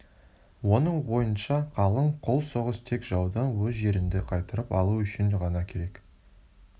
оның ойынша қалың қол соғыс тек жаудан өз жеріңді қайтарып алу үшін ғана керек